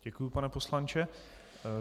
Děkuji, pane poslanče.